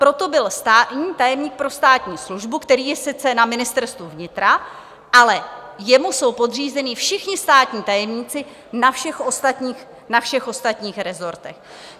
Proto byl státní tajemník pro státní službu, který je sice na Ministerstvu vnitra, ale jemu jsou podřízeni všichni státní tajemníci na všech ostatních rezortech.